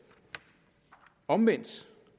omvendt